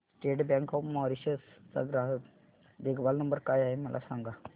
state bank of Mauritius चा ग्राहक देखभाल नंबर काय आहे मला सांगा